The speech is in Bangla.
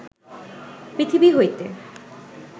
পৃথিবী হইতে